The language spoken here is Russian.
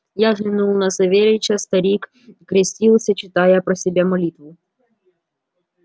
я взглянул на савельича старик крестился читая про себя молитву